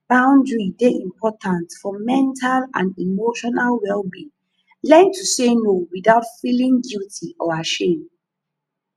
boundary dey important for mental and emotional wellbeing learn to say no without feeling guilty or ashame